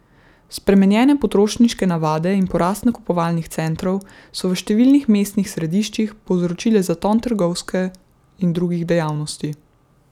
Spremenjene potrošniške navade in porast nakupovalnih centrov so v številnih mestnih središčih povzročile zaton trgovske in drugih dejavnosti.